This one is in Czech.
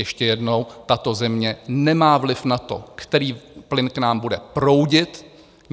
Ještě jednou, tato země nemá vliv na to, který plyn k nám bude proudit.